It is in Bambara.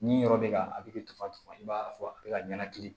Ni yɔrɔ bɛ ka a bɛ dafa i b'a fɔ a bɛ ka ɲɛnakili